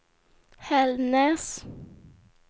Hällnäs